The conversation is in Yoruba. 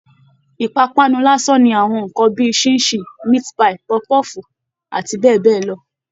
Ìpápánu lásán ni àwọn nǹkan bí i ṣín-in-ṣìn, meat-pie, pọfu-pọ́ọ̀fù àti bẹ́ẹ̀ bẹ́ẹ̀ lọ